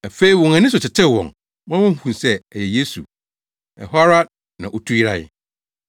Afei na wɔn ani so tetew wɔn ma wohuu sɛ ɛyɛ Yesu. Ɛhɔ ara na otu yerae.